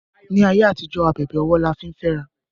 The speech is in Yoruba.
ní àyè àtijó ábèbè ọwọ là fín fé àrà